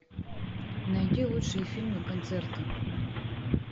найди лучшие фильмы концерты